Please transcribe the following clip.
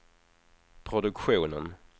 produktionen